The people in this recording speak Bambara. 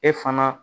E fana